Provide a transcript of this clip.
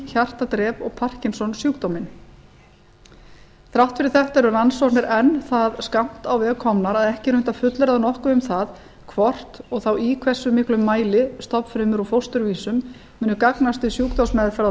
hjartadrep og parkinsonsjúkdóminn þrátt fyrir þetta eru rannsóknir enn það skammt á veg komnar að ekki er unnt að fullyrða nokkuð um það hvort og þá í hversu miklum mæli stofnfrumur úr fósturvísum muni gagnast við sjúkdómsmeðferð á